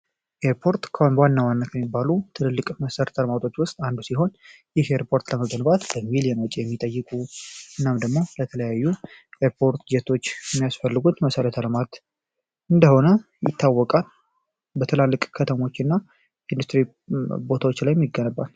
የሚባሉ ትልልቅ መሠረት ውስጥ አንዱ ሲሆን የሼፖርት የሚጠይቁ የተለያዩ ያስፈልጉት መሰረተ ልማት እንደሆነ ይታወቃ ከተሞችና ቦታዎች ላይ የሚባል